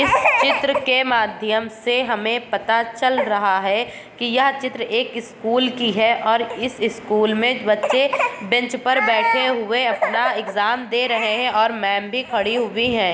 '' इस चित्र के माध्यम से हमें पता चल रहा हैं की यह चित्र एक स्कूल की हैं और इस स्कूल में बच्चे बेंच पर बैठे हुए अपना एक्जाम दे रहे हैं और मैम भी खड़ी हुई हैं। ''